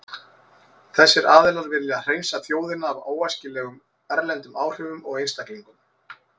Þessir aðilar vilja hreinsa þjóðina af óæskilegum erlendum áhrifum og einstaklingum.